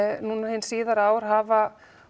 núna síðar hafa